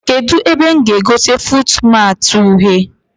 Kedụ ebe mụ ga-egote fuutmatị uhie?